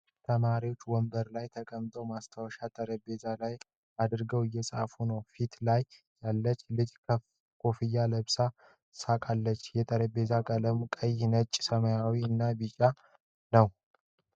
ተማሪዎች ወንበር ላይ ተቀምጠው ማስታወሻ ጠረጴዛ ላይ አድርገው እየጻፉ ነው ። ፊት ላይ ያለች ልጅ ኮፍያ ለብሳለች ፤ ስቃለች ፤ የጠረጴዛ ቀለሙ ቀይ ፣ ነጭ ፣ ሰማያዊ እና ቢጫ ነው ።